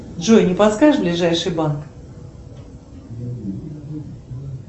джой не подскажешь ближайший банк